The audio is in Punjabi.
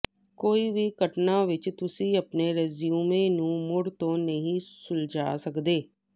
ਕੋਈ ਵੀ ਘਟਨਾ ਵਿੱਚ ਤੁਸੀਂ ਆਪਣੇ ਰੈਜ਼ਿਊਮੇ ਨੂੰ ਮੁੜ ਤੋਂ ਨਹੀਂ ਸੁਲਝਾ ਸਕਦੇ